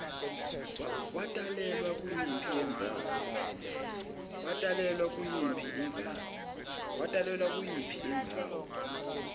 watalelwa kuyiphi indzawo